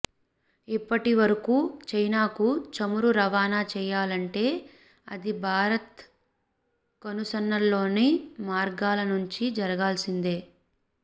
ఇప్పటి వరకు చైనాకు చమురు రవాణా చేయాలంటే అది భారత్ కనుసన్నల్లోని మార్గాల నుంచి జరగాల్సిందే